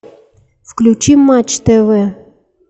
включи матч тв